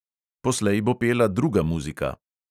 Poslej bo pela druga muzika.